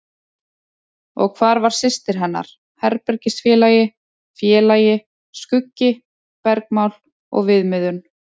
Og hvar var systir hennar, herbergisfélagi, félagi, skuggi, bergmál og viðmiðun?